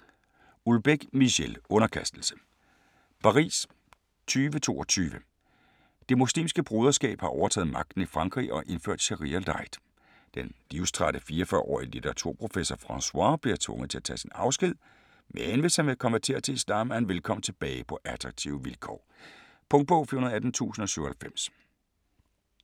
Houellebecq, Michel: Underkastelse Paris 2022. Det Muslimske Broderskab har overtaget magten i Frankrig og indført sharia-light. Den livstrætte 44-årige litteraturprofessor Francois bliver tvunget til at tage sin afsked, men hvis han vil konvertere til islam, er han velkommen tilbage på attraktive vilkår. Punktbog 418097 2018. 7 bind.